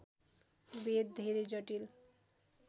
वेद धेरै जटिल